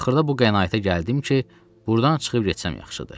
Axırda bu qənaətə gəldim ki, burdan çıxıb getsəm yaxşıdır.